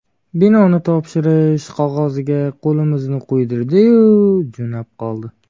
Binoni topshi-rish qog‘oziga qo‘limizni qo‘ydirdi-yu, jo‘nab qoldi.